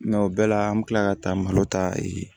o bɛɛ la an bɛ tila ka taa malo ta